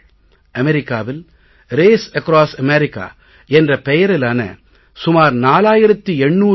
அமெரிக்காவில் race across America என்ற பெயரிலான சுமார் 4800 கி